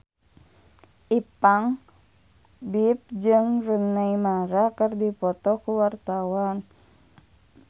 Ipank BIP jeung Rooney Mara keur dipoto ku wartawan